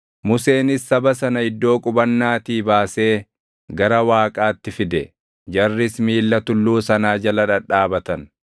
Museenis saba sana iddoo qubannaatii baasee gara Waaqaatti fide; jarris miilla tulluu sanaa jala dhadhaabatan.